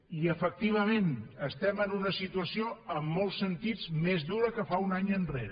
i efectivament estem en una situació en molts sentits més dura que fa un any enrere